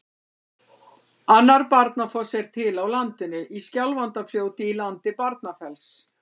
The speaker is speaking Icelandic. Annar Barnafoss er til á landinu, í Skjálfandafljóti í landi Barnafells.